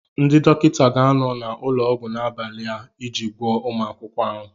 Ndị dọkịta ga-anọ n'ụlọọgwụ n'abalị a iji gwọọ ụmụ akwụkwọ ahụ.